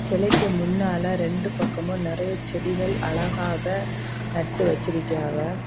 செலைக்கு முன்னால ரெண்டு பக்கமும் நறைய செடிகள் அழகாக நட்டு வச்சிருக்காவ.